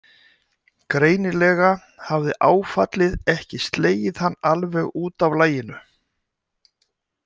Greinilega hafði áfallið ekki slegið hann alveg út af laginu.